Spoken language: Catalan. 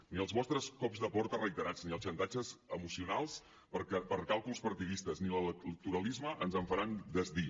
ni els vostres cops de porta reiterats ni els xantatges emocionals per càlculs partidistes ni l’electoralisme ens en faran desdir